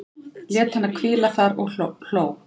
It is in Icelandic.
Lét hana hvíla þar og hló.